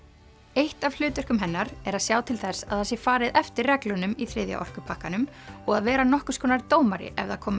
eitt af hlutverkum hennar er að sjá til þess að það sé farið eftir reglunum í þriðja orkupakkanum og að vera nokkurs konar dómari ef það koma